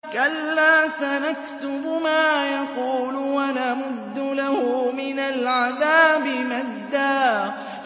كَلَّا ۚ سَنَكْتُبُ مَا يَقُولُ وَنَمُدُّ لَهُ مِنَ الْعَذَابِ مَدًّا